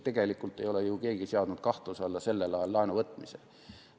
Tegelikult ei ole ju keegi seadnud kahtluse alla sellel ajal laenuvõtmist.